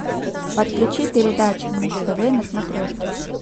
подключи передачу муз тв на смотрешке